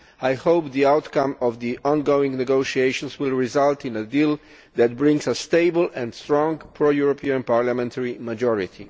I hope that the outcome of the ongoing negotiations will result in a deal that brings a stable and strong pro European parliamentary majority.